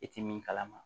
I tɛ min kalama